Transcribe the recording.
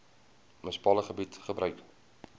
munisipale gebied gebruik